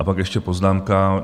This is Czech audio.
A pak ještě poznámka.